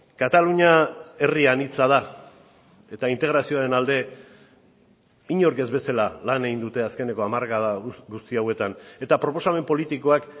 katalunia herri anitza da eta integrazioaren alde inork ez bezala lan egin dute azkeneko hamarkada guzti hauetan eta proposamen politikoak